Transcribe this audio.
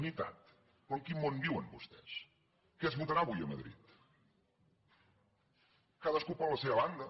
unitat però en quin món viuen vostès què es votarà avui a madrid cadascú per la seva banda